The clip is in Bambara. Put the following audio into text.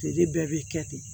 Feere bɛɛ bɛ kɛ ten